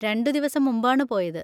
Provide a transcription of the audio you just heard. രണ്ടുദിവസം മുമ്പാണ് പോയത്.